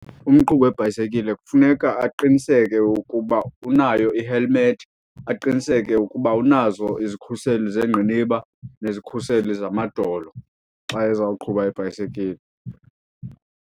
Umqhubi webhayisikile kufuneka aqiniseke ukuba unayo ihelimethi, aqiniseke ukuba unazo izikhuseli zengqiniba nezikhuseli zamadolo xa ezawuqhuba ibhayisekile.